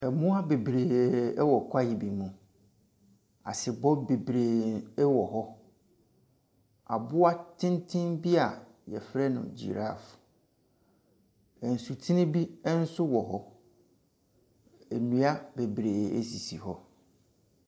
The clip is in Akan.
Mmoa bebree wɔ kwaeɛ bi mu. Asebɔ bebree wɔ hɔ. Aboa tenten bi a wɔfrɛ no giraffe. Nsutene bi nso wɔ hɔ. Nnua bebree sisi hɔ.